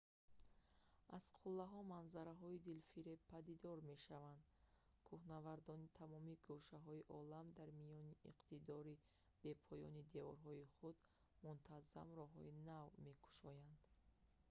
аз қуллаҳо манзараҳои дилфиреб падидор мешаванд кӯҳнавардони тамоми гӯшаҳои олам дар миёни иқтидори бепоёни деворҳои худ мунтаззам роҳҳои нав мекушоянд